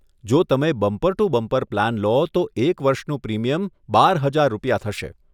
જો તમે bumper to bumper plan લો તો એક વર્ષનું પ્રીમિયમ બાર હજાર રૂપિયા થશે.